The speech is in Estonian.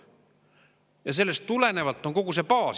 Ja sellest tulenevalt on kogu see baas seda ka.